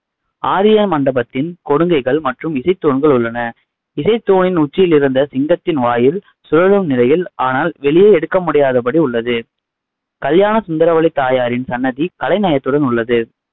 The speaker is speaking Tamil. ஆரிய மண்டபத்தில் கொடுங்கைகள் மற்றும் இசைத் தூண்கள் உள்ளன. இசைத் தூணின் உச்சியிலிருந்த சிங்கத்தின் வாயில், சுழலும் நிலையில் ஆனால் வெளியே எடுக்க முடியாதபடி உள்ளது. கல்யாண சுந்தரவல்லி தாயாரின் சன்னதி கலைநயத்துடன் உள்ளது.